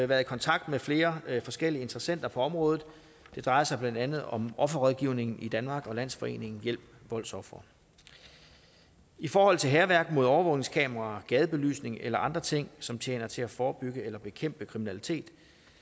været i kontakt med flere forskellige interessenter på området det drejer sig blandt andet om offerrådgivningen i danmark og landsforeningen hjælp voldsofre i forhold til hærværk mod overvågningskameraer gadebelysning eller andre ting som tjener til at forebygge eller bekæmpe kriminalitet